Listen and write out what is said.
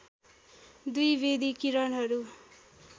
२ वेधी किरणहरू